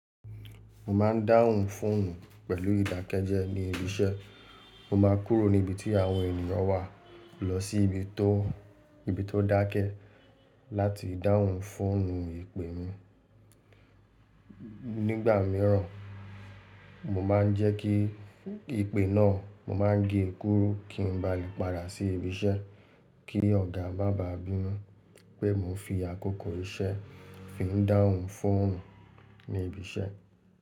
Mo ma ń dáhùn fóònù pẹ̀lú ìdákẹ́jẹ́ ní ibi iṣẹ́. Mo ma kúrò ní ibi tí àwọn ènìyàn wà lọ sí ibi tó dákẹ́ láti dáhùn fóònù ìpè mi. Nígbà míràn, mo ma ń jẹ́ kí ìpè náà, mo ma ń gé e kúrú kí n ba lè padà sí ibi iṣẹ́ kí ọ̀gá maa ba bínu pé mo n fi àkókò iṣẹ́ fi ń dáhùn fóònù ní ibi iṣẹ́.